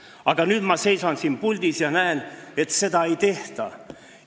Aga nüüd ma seisan siin puldis ja näen, et seda ei tehta.